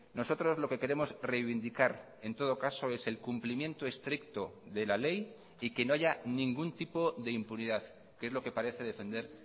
nosotros lo que queremos reivindicar en todo caso es el cumplimiento estricto de la ley y que no haya ningún tipo de impunidad que es lo que parece defender